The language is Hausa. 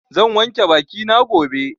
Zan wanke baki na gobe.